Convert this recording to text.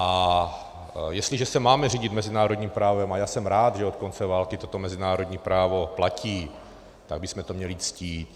A jestliže se máme řídit mezinárodním právem, a já jsem rád, že od konce války toto mezinárodní právo platí, tak bychom to měli ctít.